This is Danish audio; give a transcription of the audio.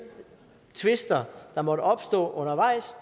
tvister der måtte opstå undervejs